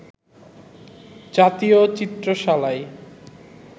জাতীয় চিত্রশালায়